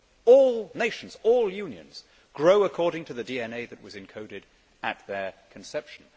All nations, all unions, grow according to the DNA that was encoded at their conception.